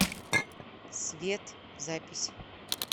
свет запись